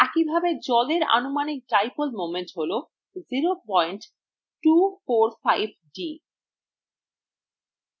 একইভাবে জলের আনুমানিক dipole moment হল 0245d